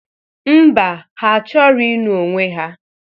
Ḿbà, ha achọrọ ịnụ onwe ha.